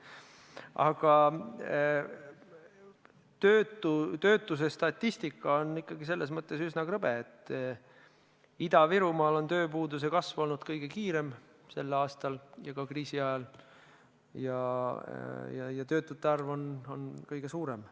Aga töötuse statistika on selles mõttes ikkagi üsna krõbe, et Ida-Virumaal on tööpuuduse kasv olnud sel aastal ja ka kriisi ajal seal kõige suurem ja töötute arv on samuti kõige suurem.